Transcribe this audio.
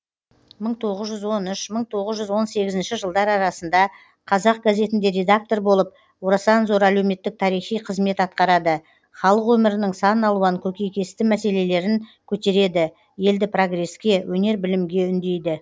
мың тоғыз жүз он үш мың тоғыз жүз он сегізінші жылдар арасында қазақ газетінде редактор болып орасан зор әлеуметтік тарихи қызмет атқарады халық өмірінің сан алуан көкейкесті мәселелерін көтереді елді прогреске өнер білімге үндейді